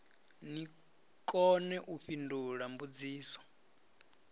ni kone u fhindula mbudziso